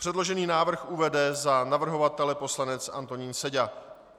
Předložený návrh uvede za navrhovatele poslanec Antonín Seďa.